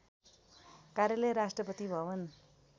कार्यालय राष्ट्रपति भवन